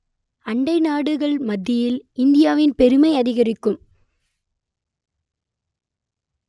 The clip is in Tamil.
அண்டை நாடுகள் மத்தியில் இந்தியாவின் பெருமை அதிகரிக்கும்